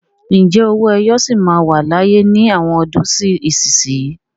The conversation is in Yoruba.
Ǹjẹ́ owó ẹyọ sì máa wà láyé ní àwọn ọdún sí ìsinsìnyí?